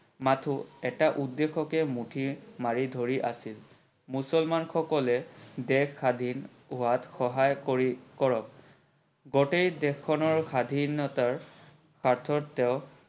মাথো এটা উদ্দেশ্যকে মুঠি মাৰি ধৰি আছিল। মুছলমান সকলে দেশ স্বাধীন হোৱাত সহায় কৰি কৰক। গোটেই দেশ খনৰ স্বাধীনতাৰ স্বাৰ্থত তেও